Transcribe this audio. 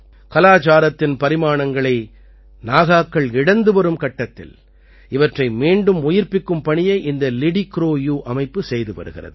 கலாச்சாரத்தின் பரிமாணங்களை நாகாக்கள் இழந்துவரும் கட்டத்தில் இவற்றை மீண்டும் உயிர்ப்பிக்கும் பணியை இந்த லிடிக்ரோயூ அமைப்பு செய்து வருகிறது